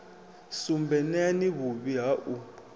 sumbe neani vhuvhi ha u